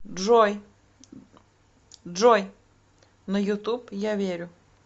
джой на ютуб я верю